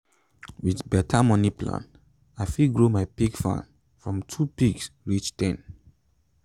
with better moni plan i fit grow my pig farm from two pigs reach ten.